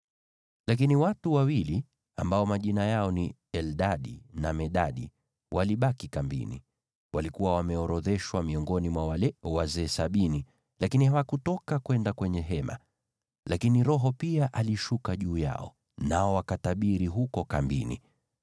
Lakini, watu wawili, ambao majina yao ni Eldadi na Medadi, walibaki kambini. Walikuwa wameorodheshwa miongoni mwa wale wazee sabini, lakini hawakutoka kwenda kwenye Hema. Lakini Roho pia alishuka juu yao, nao wakatabiri huko kambini.